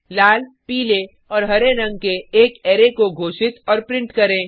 लाल पीले और हरे रंग के एक अरै को घोषित और प्रिंट करें